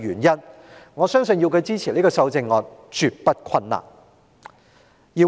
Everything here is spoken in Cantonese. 因此，我相信要他支持這項修正案絕不困難。